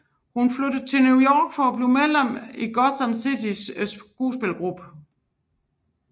Hun flyttede til New York og blev medlem i Gotham City skuespillergruppe